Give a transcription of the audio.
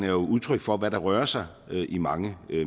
jo udtryk for hvad der rører sig i mange